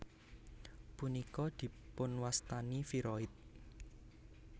Punika dipunwastani viroid